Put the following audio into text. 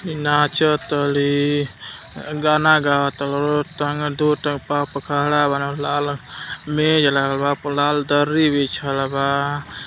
नाचतड़ी अ गाना गावा तर लोग लाल मेज लागल बा लाल दर्री बिछल बा।